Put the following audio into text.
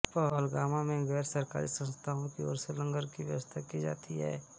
पहलगाम में गैर सरकारी संस्थाओं की ओर से लंगर की व्यवस्था की जाती है